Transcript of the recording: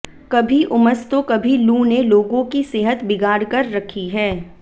कभी उमस तो कभी लू ने लोगों की सेहत बिगाड़ कर रखी है